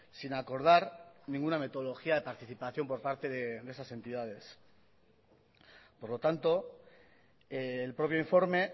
sin acordar ninguna metodología de participación por parte de esas entidades por lo tanto el propio informe